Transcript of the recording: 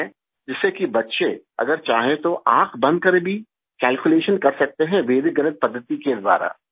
जिससे कि बच्चे अगर चाहे तो आँख बंद करके भी कैल्कुलेशन कर सकते हैं वैदिक गणित पद्दति के द्वारा